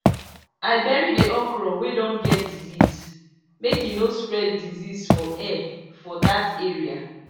i bury the okra wey don get disease make e no spread disease for air for that area